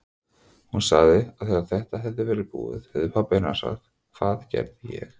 Hún sagði að þegar þetta hefði verið búið hefði pabbi hennar sagt: Hvað gerði ég?